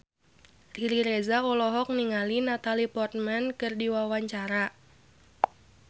Riri Reza olohok ningali Natalie Portman keur diwawancara